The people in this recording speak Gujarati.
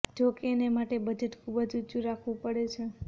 જોકે એને માટે બજેટ ખૂબ જ ઊંચું રાખવું પડે છે